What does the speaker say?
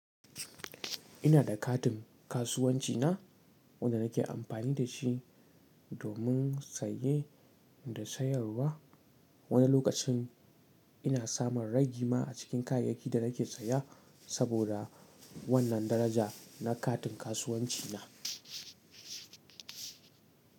Ina da katin kasuwanci na wanda nake amfani da shi domin saye da sayarwa. Wani lokacin ina samun ragi ma a cikin kayayyakin da nake saya saboda wannan daraja na katin kasuwanci na.